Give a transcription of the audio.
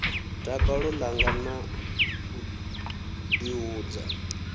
dakalo ḽanga na u ḓihudza